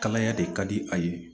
Kalaya de ka di a ye